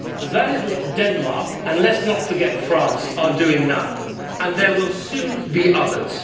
That is what Denmark and let us not forget France is doing now, and there will soon be others.